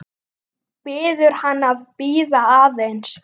Biður hann að bíða aðeins.